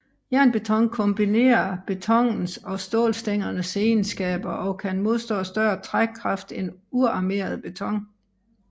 Jernbeton kombinerer betonens og stålstængernes egenskaber og kan modstå større trækkrafter end uarmeret beton